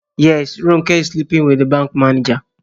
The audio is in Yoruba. Yes, Ronke is sleeping with the bank manager